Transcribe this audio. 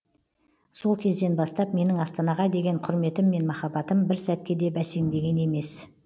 сол кезден бастап менің астанаға деген құрметім мен махаббатым бір сәтке де бәсеңдеген емес